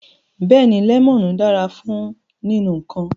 Beeni, lemonu dara fun ninu nkan